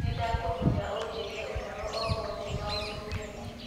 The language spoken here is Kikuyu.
Nĩndakũhoya ũnjĩrie ũhoro o wothe maũndu meerũ